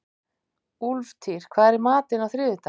Úlftýr, hvað er í matinn á þriðjudaginn?